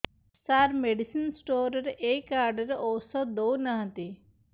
ସାର medicine store ରେ ଏଇ card ରେ ଔଷଧ ଦଉନାହାନ୍ତି